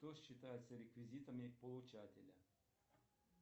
что считается реквизитами получателя